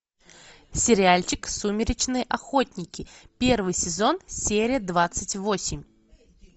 сериальчик сумеречные охотники первый сезон серия двадцать восемь